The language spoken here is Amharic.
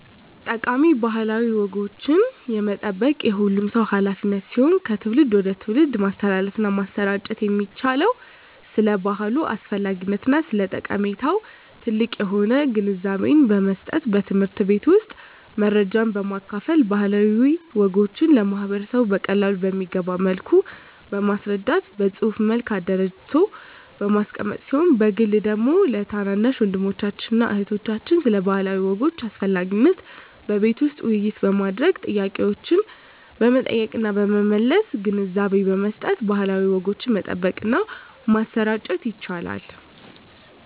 ጠቃሚ ባህላዊ ወጎችን የመጠበቅ የሁሉም ሰው ሀላፊነት ሲሆን ከትውልድ ወደ ትውልድ ማስተላለፍና ማሰራጨት የሚቻለው ስለ ባህሉ አስፈላጊነትና ስለ ጠቀሜታው ጥልቅ የሆነ ግንዛቤን በመስጠት በትምህርት ቤት ውስጥ መረጃን በማካፈል ባህላዊ ወጎችን ለማህበረሰቡ በቀላሉ በሚገባ መልኩ በማስረዳት በፅሁፍ መልክ አደራጅቶ በማስቀመጥ ሲሆን በግል ደግሞ ለታናናሽ ወንድሞችና እህቶች ስለ ባህላዊ ወጎች አስፈላጊነት በቤት ውስጥ ውይይት በማድረግ ጥያቄዎችን በመጠየቅና በመመለስ ግንዛቤ በመስጠት ባህላዊ ወጎችን መጠበቅና ማሰራጨት ይቻላል።